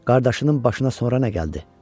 Qardaşının başına sonra nə gəldi?